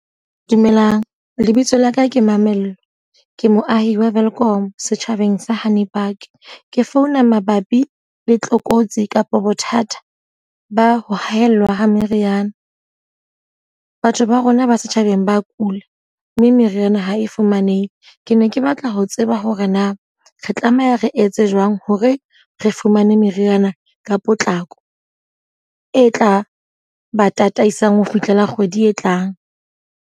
Dumelang, lebitso laka ke Mamello. Ke moahi wa Welkom, setjhabeng sa Hanipark. Ke founa mabapi le tlokotsi kapa bothata ba ho haella ha meriana. Batho ba rona ba setjhabeng ba kula, mme meriana ha e fumanehe. Ke ne ke batla ho tseba hore na re tlameha re etse jwang hore re fumane meriana ka potlako. E tla ba tataisang ho fihlela kgwedi e tlang.